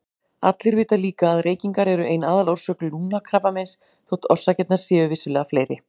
Allir vita líka að reykingar eru ein aðalorsök lungnakrabbameins þótt orsakirnar séu vissulega fleiri.